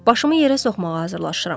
Başımı yerə soxmağa hazırlaşıram.